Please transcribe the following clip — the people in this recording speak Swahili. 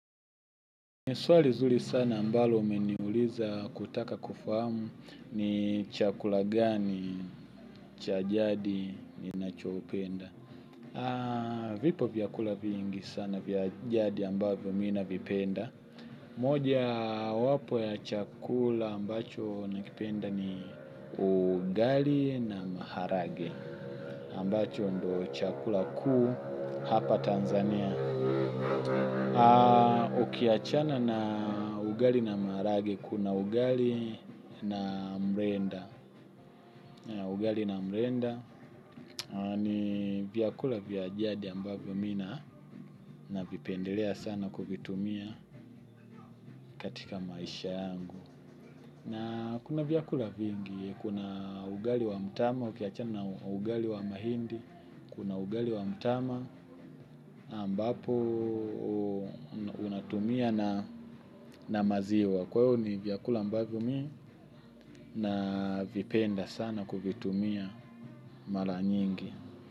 Ni swali zuri sana ambalo umeniuliza kutaka kufahamu ni chakula gani cha jadi ninachoupenda. Vipo vyakula vyingi sana vya jadi ambavyo mi navipenda. Mojawapo ya chakula ambacho nakipenda ni ugali na maharage. Ambacho ndio chakula kuu hapa Tanzania. Ukiachana na ugali na marahage, kuna ugali na mrenda. Ugali na mrenda ni vyakula vya jadi ambavyo mi navipendelea sana kuvitumia katika maisha yangu. Na kuna vyakula vingi kuna ugali wa mtama ukiachana na ugali wa mahindi. Kuna ugali wa mtama ambapo unatumia na maziwa. Kwa hiyo ni vyakula ambavyo mi navipenda sana kuvitumia mara nyingi.